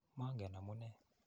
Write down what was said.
Mangen amu nee.